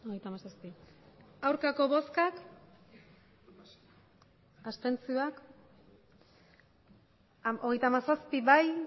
hirurogeita hamairu bai hogeita hamazazpi ez